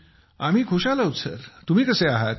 आम्ही खुशाल आहोत सर तुम्ही कसे आहात